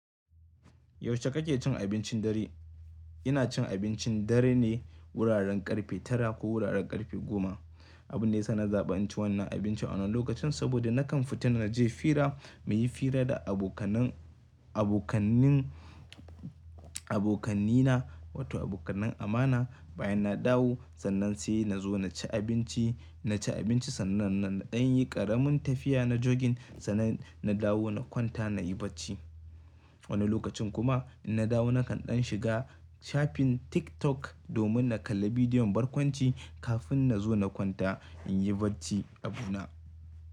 Yaushe kake cin abincin dare? Ina cin abincin dare ne wuraren ƙarfe tara ko wuraren ƙarfe goma. Abunda yasa na zaba in ci wannan abinci wannan lokacin saboda nakan fita naje fira, muyi fira da abokaina, wato abokanan amana. Bayan na dawo, sannan sai nazo naci abinci. Naci abinci sannan nanɗan yi ƙaramin tafiya na jogging sannan na dawo na kwanta nayi bacci. Wani lokacin kuma in na dawo nakan ɗan shiga shafin TikTok domin na kalli bidiyon barkwanci kafin nazo na kwanta in yi bacci abuna.